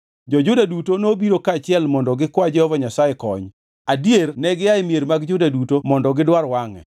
Jo-Juda duto nobiro kaachiel mondo gikwa Jehova Nyasaye kony, adier negia e mier mag Juda duto mondo gidwar wangʼe.